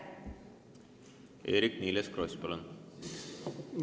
Eerik-Niiles Kross, palun!